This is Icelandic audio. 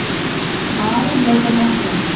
Ari leit á Martein.